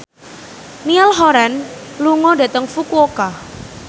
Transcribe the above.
Niall Horran lunga dhateng Fukuoka